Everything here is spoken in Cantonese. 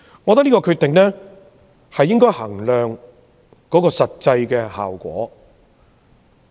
我覺得應該衡量這項決定的實際效果。